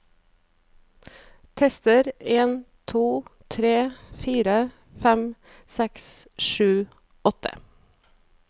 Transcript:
Tester en to tre fire fem seks sju åtte